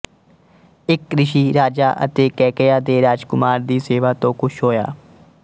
ਇੱਕ ਰਿਸ਼ੀ ਰਾਜਾ ਅਤੇ ਕੇਕਯਾ ਦੇ ਰਾਜਕੁਮਾਰ ਦੀ ਸੇਵਾ ਤੋਂ ਖੁਸ਼ ਹੋਇਆ